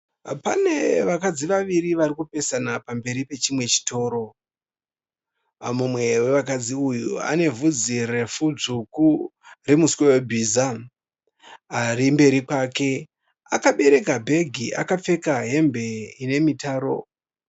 Pane vakadzi vaviri vari kupesana pamberi pechimwe chitoro. Mumwe vevakadzi uyu ane bvudzi refu dzvuku remuswe webhiza. Ari mberi kwake akabereka bhegi akapfeka hembe ine mitaro.